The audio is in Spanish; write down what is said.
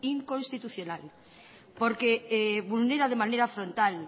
inconstitucional porque vulnera de manera frontal